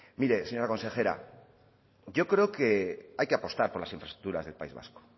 mire señora consejera yo creo que hay que apostar por las infraestructuras del país vasco